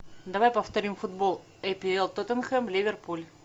давай повторим футбол апл тоттенхэм ливерпуль